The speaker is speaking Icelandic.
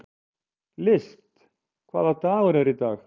List, hvaða dagur er í dag?